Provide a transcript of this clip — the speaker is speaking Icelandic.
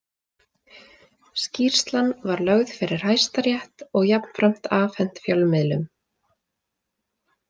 Skýrslan var lögð fyrir Hæstarétt og jafnframt afhent fjölmiðlum.